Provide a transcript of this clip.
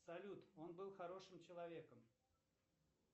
салют он был хорошим человеком